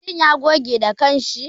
Shi ya goge da kanshi.